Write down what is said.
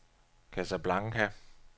Casablanca